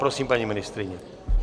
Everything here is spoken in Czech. Prosím, paní ministryně.